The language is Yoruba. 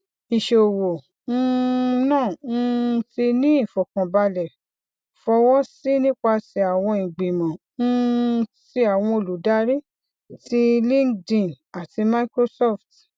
iṣowo um naa um ti ni ifọkanbalẹ fọwọsi nipasẹ awọn igbimọ um ti awọn oludari ti linkedin ati microsoft